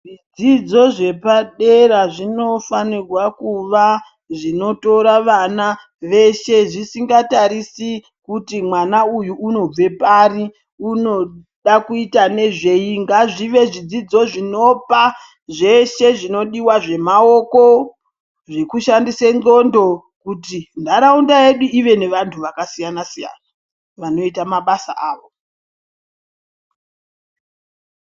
Zvidzidzo zvepadera zvinofanirwa kuva zvinotora vana veshe, zvisingatarisi kuti mwana uyu unobve pari unoda kuita nezvei. Ngazvive zvidzidzo zvinopa zveshe zvinodiwa zvemaoko, zvekushandise ndxondo kuti, nharaunda yedu ive nevantu vakasiyana-siyana, vanoita mabasa avo.